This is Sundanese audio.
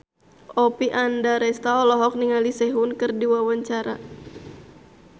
Oppie Andaresta olohok ningali Sehun keur diwawancara